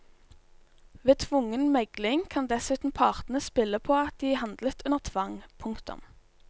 Ved tvungen megling kan dessuten partene spille på at de handlet under tvang. punktum